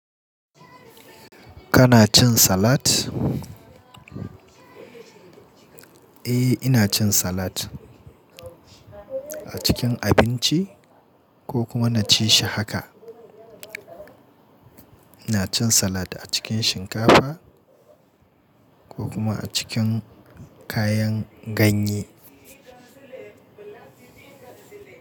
Kana cin salat? Eh, ina cin salat a cikin abinci ko kuma na ci shi haka. Ina cin salat a cikin shinkafa ko kuma a cikin kayan ganye.